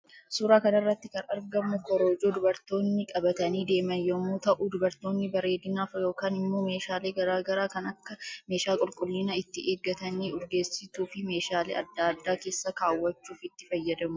Suuraa kanarratti kan argamu korojoo dubartoonni qabatanii deeman yommuu ta'uu dubartoonni bareedinaaf yookan immo meshaalee garaa garaa kan Akka meeshaa qulqullina itti eeggatanii, urgeessituu ,fi meshaalee adda addaa kessa kaawwachuuf itti fayyadamu